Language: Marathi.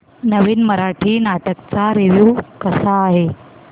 नवीन मराठी नाटक चा रिव्यू कसा आहे